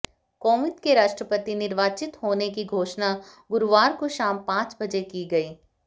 कोविंद के राष्ट्रपति निर्वाचित होने की घोषणा गुरुवार को शाम पांच बजे की गई